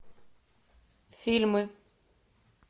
фильмы